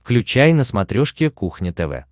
включай на смотрешке кухня тв